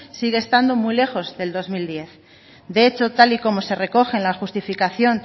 sigue estando muy lejos del dos mil diez de hecho tal y como se recogen la justificación